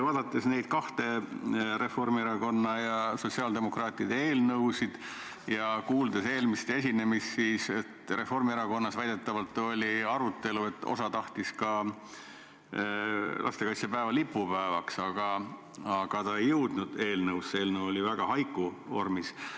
Vaatasin neid kahte, Reformierakonna ja sotsiaaldemokraatide eelnõu, ja kuulsin eelmisest esinemisest, et Reformierakonnas väidetavalt oli arutelu, sest osa tahtis ka lastekaitsepäeva lipupäevaks, aga see ei jõudnud eelnõusse, eelnõu oli väga haiku vormis.